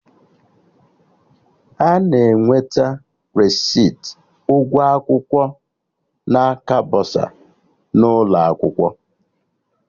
Ana enweta resiti ụgwọ akwụkwọ na aka bọsa n'ụlọ akwụkwọ